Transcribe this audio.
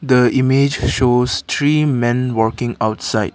the image shows three men working outside.